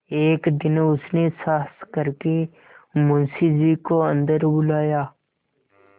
एक दिन उसने साहस करके मुंशी जी को अन्दर बुलाया